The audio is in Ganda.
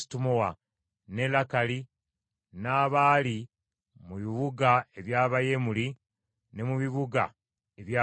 n’e Lakali, n’abaali mu bibuga eby’Abayerameeri, ne mu bibuga eby’Abakeeni;